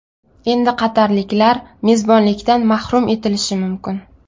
Endi qatarliklar mezbonlikdan mahrum etilishi mumkin.